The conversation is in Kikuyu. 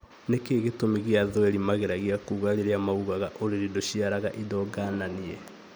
Nĩkĩĩ gĩtũmi gĩa thweri mageragia kuga rĩrĩa maugaga " ũrĩrĩ ndũciaraga indo ngananie"